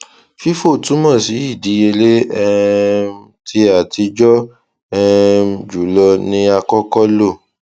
fifo túmọ sí ìdíyèlé um tí àtijọ um jùlọ ni a kọkọ lo